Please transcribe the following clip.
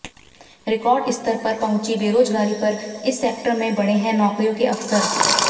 record स्तर पर पहुंची बेरोजगारी पर इस सेक्टर में बढ़े हैं नौकरियों के अवसर